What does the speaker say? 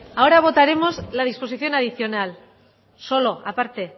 ahora votaremos la disposición adicional solo a parte